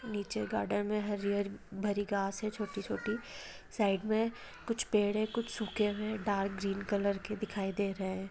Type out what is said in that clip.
नीचे गार्डन में हरियर भारी घास है छोटी छोटी साइड में कुछ पेड़ है कुछ सूखे हुए है डार्क ग्रीन कलर के दिखाई दे रहे है।